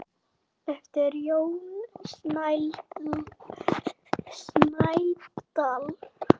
eftir Jón Snædal.